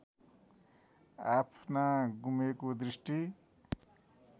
आफ्ना गुमेको दृष्टि